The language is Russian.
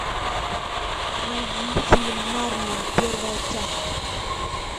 найди фильм нарния первая часть